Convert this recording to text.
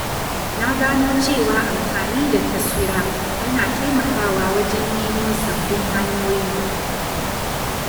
Na gano cewa amfani da taswira yana taimakawa wajen nemo sabbin hanyoyi.